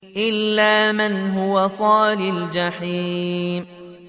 إِلَّا مَنْ هُوَ صَالِ الْجَحِيمِ